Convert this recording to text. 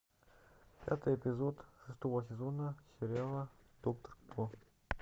пятый эпизод шестого сезона сериала доктор кто